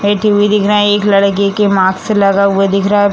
बैठी भी दिख रहा है एक लड़के के मास्क लगा हुआ दिख रहा है।